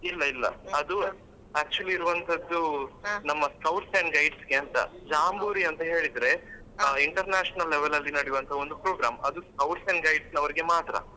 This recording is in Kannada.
ಇಲ್ಲ ಇಲ್ಲ ಅದು actually ಇರುವಂತದ್ದು ನಮ್ಮ scouts and guides ಗೆ ಅಂತ ಜಾಂಬೂರಿ ಅಂತ ಹೇಳಿದ್ರೆ international level ಅಲ್ಲಿ ನಡಿವಂತ ಒಂದು program ಅದು scouts and guides ನವರಿಗೆ ಮಾತ್ರ.